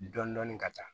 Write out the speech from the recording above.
Dɔndɔni ka taa